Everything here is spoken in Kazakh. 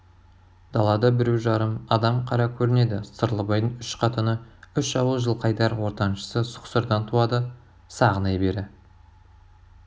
далада біреу-жарым адам қара көрінеді сырлыбайдың үш қатыны үш ауыл жылқайдар ортаншысы сұқсырдан туады сағынай бері